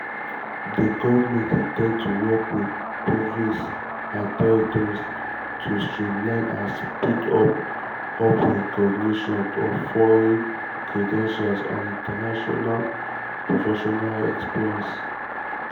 di goment in ten d to work wit provinces and territories to streamline and speed up up recognition of foreign credentials and international professional experience.